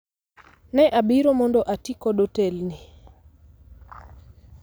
Ne abiro mondo ati kod otelni